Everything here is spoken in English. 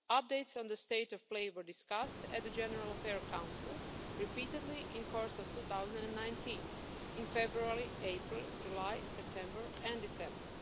Updates on the state of play were discussed at the General Affairs Council repeatedly in the course of 2019, in February, April, July, September and December.